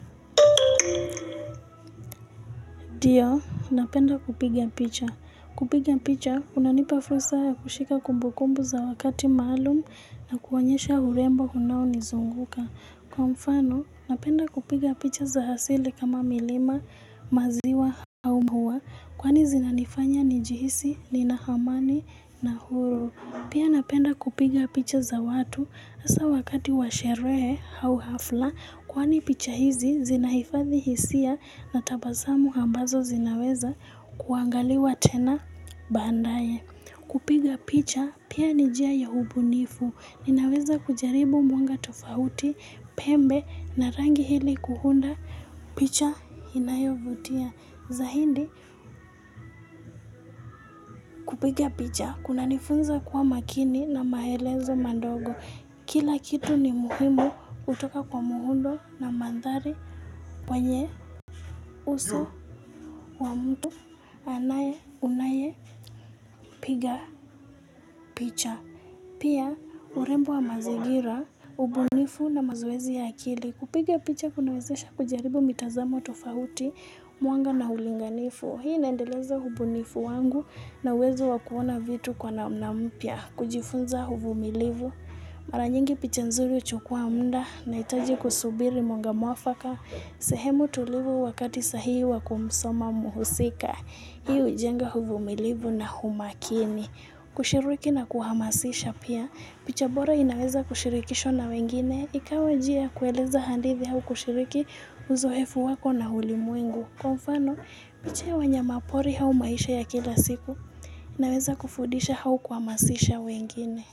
Ndio, napenda kupiga picha. Kupiga picha, unanipa fursa ya kushika kumbu kumbu za wakati maalum na kuonyesha urembo unaonizunguka. Kwa mfano, napenda kupiga picha za asili kama milima, maziwa, au maua, kwani zinanifanya nijihisi, nina amani, na huru. Pia napenda kupiga picha za watu hasa wakati wa sherehe au hafla kwani picha hizi zinahifadhi hisia na tabasamu ambazo zinaweza kuangaliwa tena baadaye. Kupiga picha pia ni njia ya ubunifu. Ninaweza kujaribu mwanga tofauti, pembe na rangi ili kuunda picha inayovutia. Zaidi kupiga picha kunanifunza kuwa makini na maelezo madogo. Kila kitu ni muhimu hutoka kwa muundo na mandhari wenye uso wa mtu anaye unayepiga picha. Pia urembo wa mazingira, ubunifu na mazoezi ya akili. Kupiga picha kunawezesha kujaribu mitazamo tofauti, mwanga na ulinganifu. Hii inaendeleza ubunifu wangu na uwezo wa kuona vitu kwa namna mpya. Kujifunza uvumilivu. Mara nyingi picha nzuri huchukua muda nahitaji kusubiri mwanga mwafaka, sehemu tulivu wakati sahihi wa kumsoma mhusika, hii hujenga uvumilivu na umakini. Kushiriki na kuhamasisha pia, picha bora inaweza kushirikishwa na wengine, ikawa njia ya kueleza handithi au kushiriki uzoefu wako na ulimwengu. Kwa mfano, picha ya wanyama pori au maisha ya kila siku, inaweza kufundisha au kuhamasisha wengine.